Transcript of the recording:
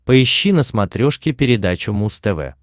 поищи на смотрешке передачу муз тв